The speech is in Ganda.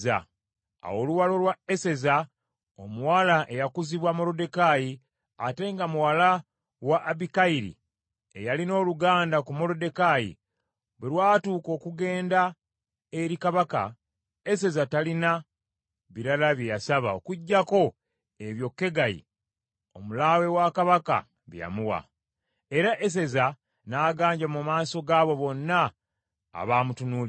Awo oluwalo lwa Eseza omuwala eyakuzibwa Moluddekaayi, ate nga muwala wa Abikayiri, eyalina oluganda ku Moluddekaayi, bwe lwatuuka okugenda eri Kabaka, Eseza talina birala bye yasaba okuggyako ebyo Kegayi, omulaawe wa Kabaka bye yamuwa. Era Eseza n’aganja mu maaso g’abo bonna abaamutunuulira.